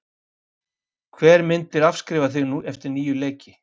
Hver myndir afskrifa þig eftir níu leiki?